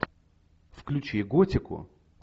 включи готику